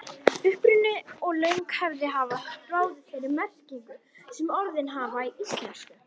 Uppruni og löng hefð hafa ráðið þeirri merkingu sem orðin hafa í íslensku.